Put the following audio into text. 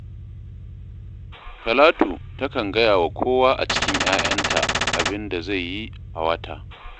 Talatu takan gaya wa kowa a cikin 'ya'yanta abin da zai yi a wata